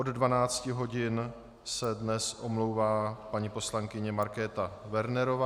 Od 12 hodin se dnes omlouvá paní poslankyně Markéta Wernerová.